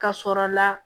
Ka sɔrɔ la